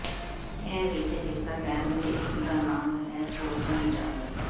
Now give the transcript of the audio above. ਇਹ ਵਿਚ ਹਿੱਸਾ ਲੈਣ ਦੇ ਇੱਕ ਦਾ ਨਾਮ ਹੈ ਟਰੋਜਨ ਜੰਗ